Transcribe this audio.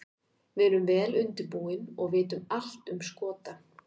Við erum vel undirbúin og vitum allt um Skota.